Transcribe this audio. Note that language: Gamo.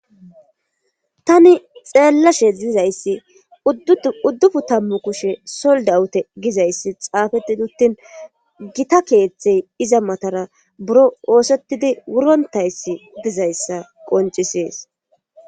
tani xeellashe zizayssi uddufu tammu kushe soldawute gizayssi xaafeti duttin gita keeththey iza matara buro oosettidi wurontayssi dizayssa qoncisees